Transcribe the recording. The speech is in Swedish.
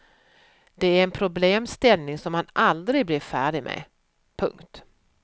Det är en problemställning som man aldrig blir färdig med. punkt